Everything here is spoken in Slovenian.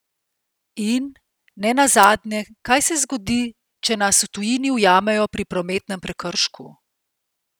In, ne nazadnje, kaj se zgodi, če nas v tujini ujamejo pri prometnem prekršku?